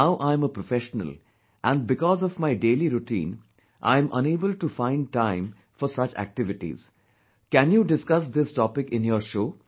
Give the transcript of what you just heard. Now I am a professional, and because of my daily routine, I am unable to find time for such activities...can you discuss this topic in your show